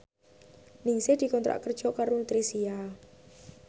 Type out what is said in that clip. Ningsih dikontrak kerja karo Nutricia